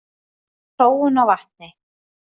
Sóun á vatni.